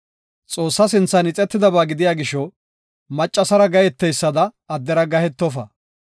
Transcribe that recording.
“Xoossa sinthan ixetidaba gidiya gisho maccasara gaheteysada addera gahetofa.